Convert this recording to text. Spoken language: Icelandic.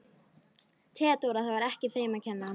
THEODÓRA: Það var ekki þeim að kenna.